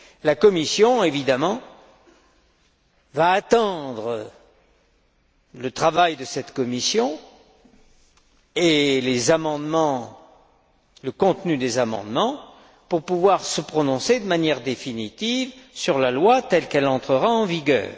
La Commission, évidemment, va attendre le travail de cette Commission et le contenu des amendements pour pouvoir se prononcer de manière définitive sur la loi telle qu'elle entrera en vigueur.